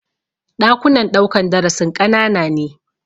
Ɗakunan ɗaukan darasin ƙanana ne.